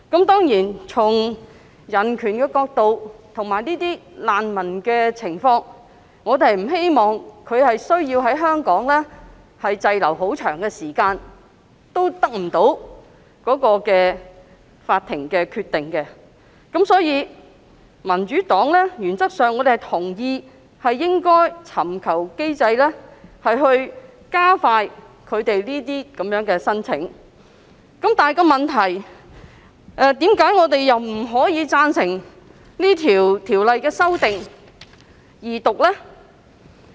當然，從人權角度及難民的情況作考慮，我們不希望他們要長時間滯留香港等待法庭的決定，所以，民主黨原則上同意設立機制，以加快處理這些申請，但問題是......為何我們不贊成《條例草案》二讀呢？